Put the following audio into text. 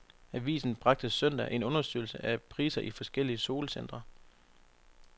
Avisen bragte søndag en undersøgelse af priser i forskellige solcentre.